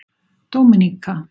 Dóminíka